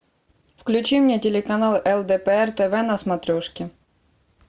включи мне телеканал лдпр тв на смотрешке